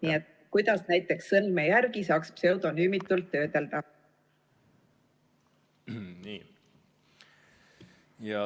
Nii et kuidas näiteks sõrmejälgi saaks pseudonümiseeritult töödelda?